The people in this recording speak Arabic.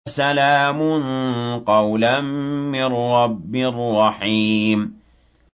سَلَامٌ قَوْلًا مِّن رَّبٍّ رَّحِيمٍ